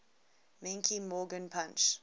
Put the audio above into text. menke morgan punch